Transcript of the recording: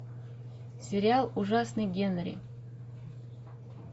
сериал ужасный генри